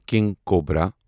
king cobra